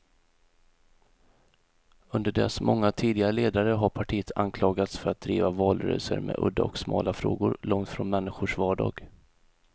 Under dess många tidigare ledare har partiet anklagats för att driva valrörelser med udda och smala frågor, långt från människors vardag.